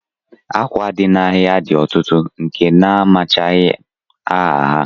Akwa dị n'ahịa dị ọtụtụ nke na amachaghị m aha ha